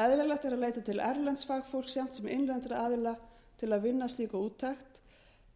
eðlilegt er að leita til erlends fagfólks jafnt sem innlendra aðila til að vinna slíka úttekt